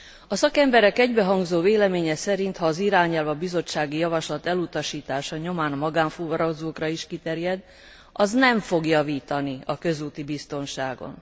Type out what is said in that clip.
A szakemberek egybehangzó véleménye szerint, ha az irányelv a bizottsági javaslat elutasítása nyomán magánfuvarozókra is kiterjed, az nem fog javítani a közúti biztonságon.